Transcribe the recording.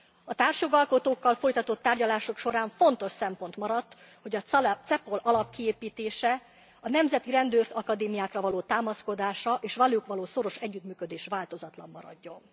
A társjogalkotókkal folytatott tárgyalások során fontos szempont maradt, hogy a CEPOL alapkiépítése a nemzeti rendőrakadémiákra való támaszkodása és a velük való szoros együttműködés változatlan maradjon.